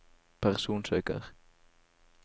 personsøker